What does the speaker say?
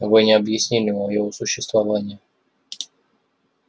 вы не объяснили моего существования